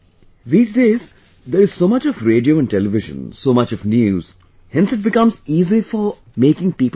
These days, there is so much of radio and television; so much of news...hence it becomes easy for making people understand